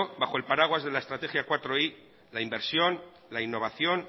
bajo el paraguas de la la inversión la innovación